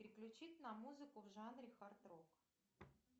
переключить на музыку в жанре хард рок